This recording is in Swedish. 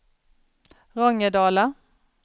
Rångedala